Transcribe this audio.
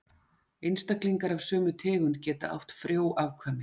Einstaklingar af sömu tegund geta átt frjó afkvæmi.